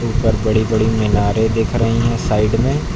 और बड़ी बड़ी मीनारें दिख रही हैं साइड में।